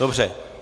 Dobře.